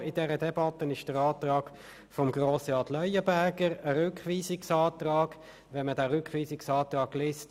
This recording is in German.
Neu in der Debatte hinzugekommen ist jetzt der Rückweisungsantrag von Grossrat Leuenberger.